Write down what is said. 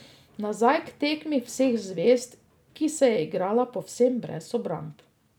Nazaj k tekmi vseh zvezd, ki se je igrala povsem brez obramb.